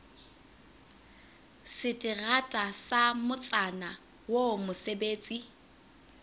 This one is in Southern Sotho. seterata sa motsana oo mosebetsi